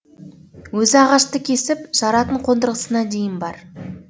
өзі ағашты кесіп жаратын қондырғысына дейін бар